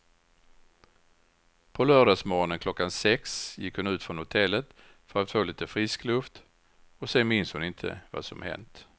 På lördagsmorgonen klockan sex gick hon ut från hotellet för att få lite frisk luft och sen minns hon inte vad som hänt.